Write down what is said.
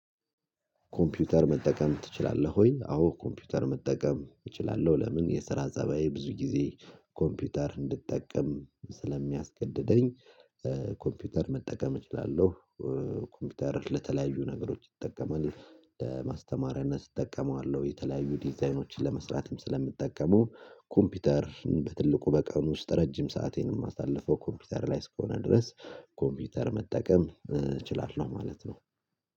ኮምፒውተር መጠቀም ትችላለህ ወይ? አዎ ኮምፒውተር መጠቀም እችላለሁ ለምን የስራ ፀባዬ ብዙ ጊዜ ኮምፒውተር እንድጠቀም ስለሚያስገደደኝ ኮምፒውተር መጠቀም እችላለሁ። ኮምፒውተር ለተለያዩ ነገሮች ይጠቀማል። ለማስተማሪያነት እጠቀመዋለሁ የተለያዩ ዲዛይኖችን ለመስራትም ስለምትጠቀመው ኮምፒውተር በትልቁ በቀኑ ውስጥ ረጅም ሰአቴንም አሳልፎ ኮምፒውተር ላይ እስከሆነ ድረስ ኮምፒውተር መጠቀም እችላለሁ ማለት ነው